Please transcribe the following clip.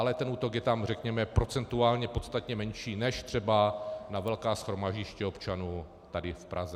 Ale ten útok je tam, řekněme, procentuálně podstatně menší než třeba na velká shromaždiště občanů tady v Praze.